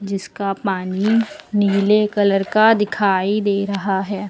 इसका पानी नीले कलर का दिखाई दे रहा है।